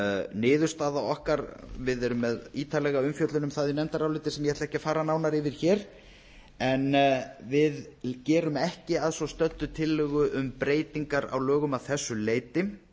niðurstaða okkar við erum með ítarlega umfjöllun um það í nefndaráliti sem ég ætla ekki að fara nánar yfir hér en við gerum ekki að svo stöddu tillögu um breytinga á lögum að þessu leyti